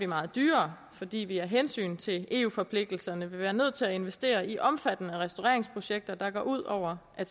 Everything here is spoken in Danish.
meget dyrere fordi vi af hensyn til eu forpligtelserne vil være nødt til at investere i omfattende restaureringsprojekter der ud over at